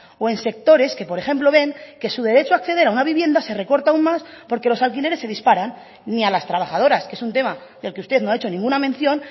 o en sectores que por ejemplo ven que su derecho a acceder a una vivienda se recorta aún más porque los alquileres se disparan ni a las trabajadoras que es un tema del que usted no ha hecho ninguna mención